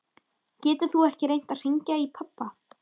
Getur þú ekki reynt að hringja í pabba?